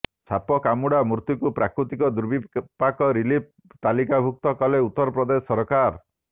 ସାପକାମୁଡ଼ା ମୃତ୍ୟୁକୁ ପ୍ରାକୃତିକ ଦୁର୍ବିପାକ ରିଲିଫ୍ ତାଲିକାଭୁକ୍ତ କଲେ ଉତ୍ତର ପ୍ରଦେଶ ସରକାର